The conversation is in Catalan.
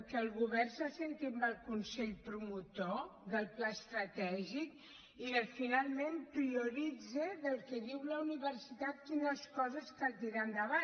que el govern s’assegui amb el consell promotor del pla estratègic i finalment prioritzi del que diu la universitat quines coses cal tirar endavant